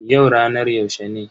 Yau ranar yaushe ne?